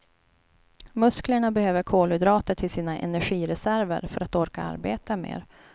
Musklerna behöver kolhydrater till sina energireserver för att orka arbeta mer.